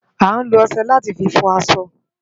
Ániló òṣè láti fi fò aṣọ